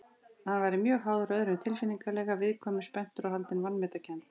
Hann væri mjög háður öðrum tilfinningalega, viðkvæmur, spenntur og haldinn vanmetakennd.